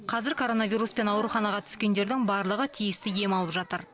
қазір коронавируспен ауруханаға түскендердің барлығы тиісті ем алып жатыр